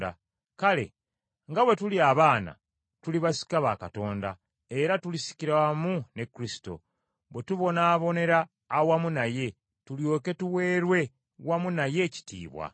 Kale nga bwe tuli abaana, tuli basika ba Katonda, era tulisikira wamu ne Kristo, bwe tubonaabonera awamu naye, tulyoke tuweerwe wamu naye ekitiibwa.